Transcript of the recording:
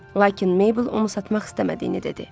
Lakin Mable onu satmaq istəmədiyini dedi.